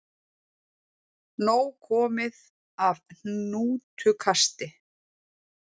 Nóg komið af hnútukasti